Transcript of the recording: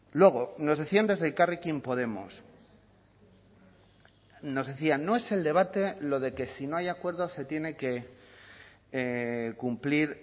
luego nos decían desde elkarrekin podemos nos decían no es el debate lo de que si no hay acuerdo se tiene que cumplir